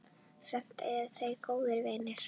Samt eru þau góðir vinir.